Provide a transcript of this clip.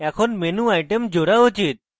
এর menuitem জোড়া উচিত